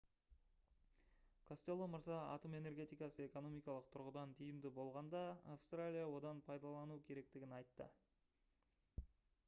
костелло мырза атом энергетикасы экономикалық тұрғыдан тиімді болғанда австралия одан пайдалануы керектігін айтты